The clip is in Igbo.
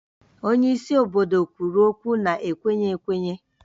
Onye isi obodo kwuru okwu na-ekwenye ekwenye